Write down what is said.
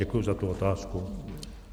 Děkuju za tu otázku.